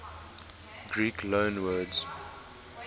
greek loanwords